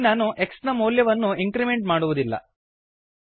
ಇಲ್ಲಿ ನಾನು x ನ ಮೌಲ್ಯವನ್ನು ಇಂಕ್ರಿಮೆಂಟ್ ಮಾಡುವುದಿಲ್ಲ